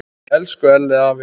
Elsku Elli afi.